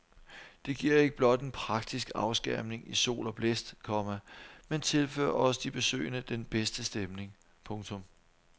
Det giver ikke blot en praktisk afskærmning i sol og blæst, komma men tilfører også de besøgende den bedste stemning. punktum